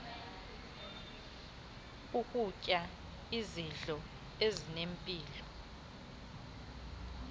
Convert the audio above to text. nokutya izidlo ezinempilo